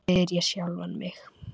spyr ég sjálfan mig.